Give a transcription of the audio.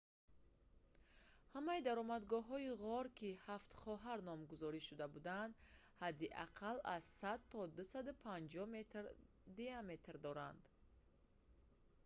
ҳамаи даромадгоҳҳои ғор ки «ҳафт хоҳар» номгузорӣ шуда буданд ҳадди аққал аз 100 то 250 метр аз 328 то 820 фут диаметр доранд